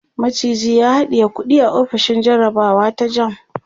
maciji ya haɗiye kuɗi a ofishin jarabawa ta JAMB